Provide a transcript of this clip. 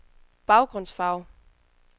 baggrundsfarve